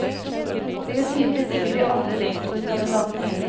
Det gjør tydeligvis ikke de andre rektorkandidatene heller.